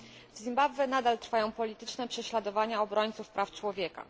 W Zimbabwe nadal trwają polityczne prześladowania obrońców praw człowieka.